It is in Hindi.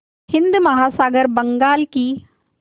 हिंद महासागर बंगाल की